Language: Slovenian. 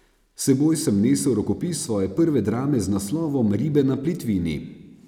S seboj sem nesel rokopis svoje prve drame z naslovom Ribe na plitvini.